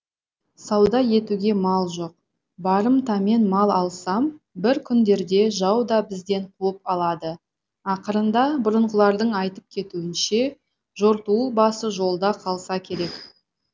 сауда етуге мал жоқ барымтамен мал алсам бір күндерде жау да бізден қуып алады ақырында бұрынғылардың айтып кетуінше жортуыл басы жолда қалса керек